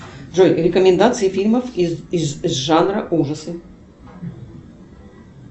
джой рекомендации фильмов из жанра ужасы